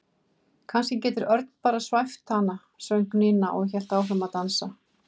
Kannski getur Örn bara svæft hana söng Nína og hélt áfram að dansa.